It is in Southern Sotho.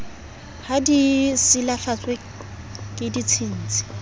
ha di silafatswe ke ditshintshi